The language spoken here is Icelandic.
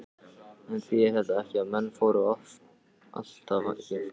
En þýðir þetta ekki að menn fóru allt of geyst?